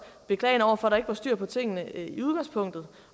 beklagende over for at der ikke var styr på tingene i udgangspunktet